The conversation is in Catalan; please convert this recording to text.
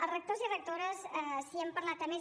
els rectors i rectores si hem parlat amb ells